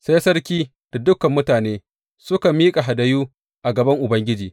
Sai sarki da dukan mutanen suka miƙa hadayu a gaban Ubangiji.